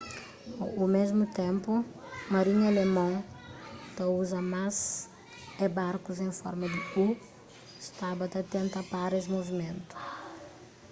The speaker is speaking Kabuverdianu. o mésmu ténpu marinha alemon ta uza más é barkus en forma di u staba ta tenta pára es movimentu